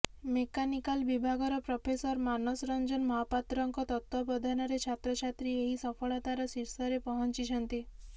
mechanical ବିଭାଗର professor Manas Ranjan ମହାପାତ୍ରଙ୍କ ତତ୍ତ୍ୱାବଧନାରେ ଛାତ୍ରଛାତ୍ରୀ ଏହି ସଫଳତାର ଶିର୍ଷରେ ପହଞ୍ଚିଛନ୍ତି